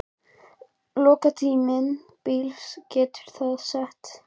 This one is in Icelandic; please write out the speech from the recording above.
lok tímabilsins getið þið sest niður og endurskoðað listann.